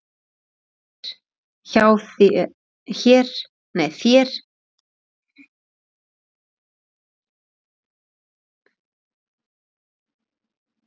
þér hér hjá mér